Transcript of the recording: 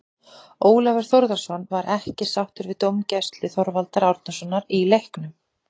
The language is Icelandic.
Ólafur Þórðarson var ekki sáttur við dómgæslu Þorvaldar Árnasonar í leiknum.